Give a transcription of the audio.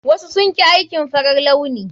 Wasu sun ƙi aikin farar launi.